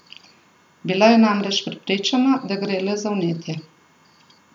Bila je namreč prepričana, da gre le za vnetje.